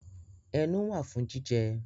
Ẹnu wạ fun jijẹ.